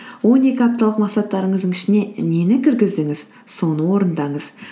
он екі апталық мақсаттарыңыздың ішіне нені кіргіздіңіз соны орындаңыз